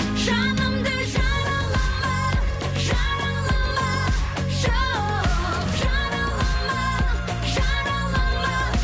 жанымды жаралама жаралама жоқ жаралама жаралама